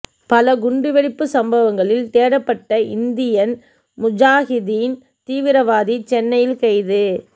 பல குண்டுவெடிப்பு சம்பவங்களில் தேடப்பட்ட இந்தியன் முஜாஹிதீன் தீவிரவாதி சென்னையில் கைது